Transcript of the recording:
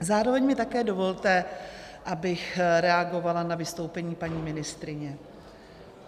Zároveň mi také dovolte, abych reagovala na vystoupení paní ministryně.